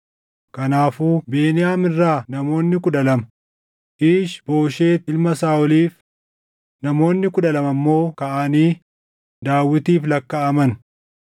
Kanaafuu Beniyaam irraa namoonni kudha lama Iish-Booshet ilma Saaʼoliif, namoonni kudha lama immoo kaʼanii Daawitiif lakkaaʼaman.